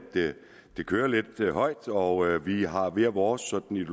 det kører lidt højt og vi har hver vores sådan